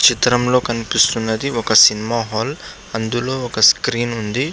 చిత్రం లో కనిపిస్తున్నది ఒక సినిమా హాల్ అందులో ఒక స్క్రీన్ ఉంది.